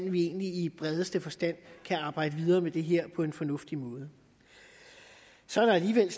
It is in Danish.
at vi egentlig i bredeste forstand kan arbejde videre med det her på en fornuftig måde så er der alligevel